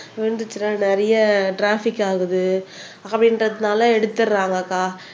விழுந்துச்சுன்னா நிறைய டிராபிக் ஆகுது அப்படின்றதனால எடுத்திடுறாங்கக்கா